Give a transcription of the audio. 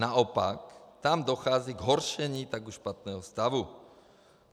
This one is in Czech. Naopak, tam dochází k zhoršení už tak špatného stavu.